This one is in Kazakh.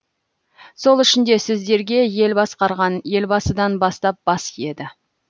сол үшін де сіздерге ел басқарған елбасыдан бастап бас иеді